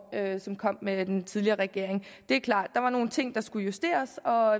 som kom med den tidligere regering det er klart der var nogle ting der skulle justeres og